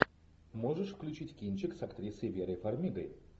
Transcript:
можешь включить кинчик с актрисой верой фармигой